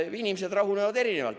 Inimesed rahunevad erinevalt.